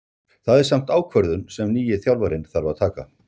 Það er samt ákvörðun sem nýi þjálfarinn þarf að taka.